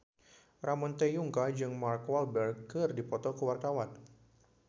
Ramon T. Yungka jeung Mark Walberg keur dipoto ku wartawan